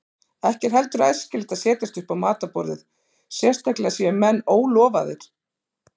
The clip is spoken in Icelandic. Ekki er heldur æskilegt að setjast upp á matarborðið, sérstaklega séu menn ólofaðir.